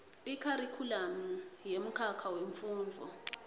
ikharikhulamu yemkhakha wemfundvo